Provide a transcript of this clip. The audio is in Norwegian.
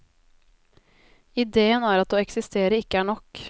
Idéen er at å eksistere ikke er nok.